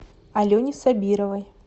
алене сабировой